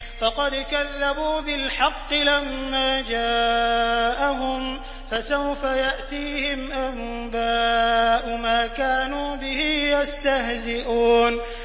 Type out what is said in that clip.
فَقَدْ كَذَّبُوا بِالْحَقِّ لَمَّا جَاءَهُمْ ۖ فَسَوْفَ يَأْتِيهِمْ أَنبَاءُ مَا كَانُوا بِهِ يَسْتَهْزِئُونَ